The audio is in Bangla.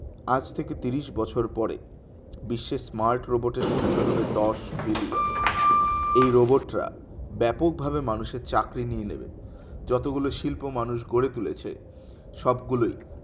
আজ থেকে তিরিশ বছর পরে বিশ্বের smart robot এর সংখ্যা হবে দশ billion এই robot রা ব্যাপক ভাবে মানুষের চাকরি নিয়ে নেবে যতগুলো শিল্প মানুষ গড়ে তুলেছে সব গুলোই